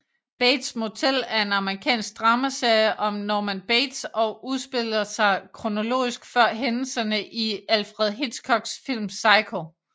Bates Motel er en amerikansk dramaserie om Norman Bates og udspiller sig kronologisk før hændelserne i Alfred Hitchcocks film Psycho